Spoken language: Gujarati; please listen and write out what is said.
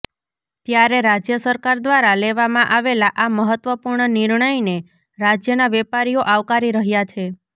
ત્યારે રાજ્ય સરકાર દ્વારા લેવામાં આવેલા આ મહત્વપૂર્ણ નિર્ણયને રાજ્યના વેપારીઓ આવકારી રહ્યાં છે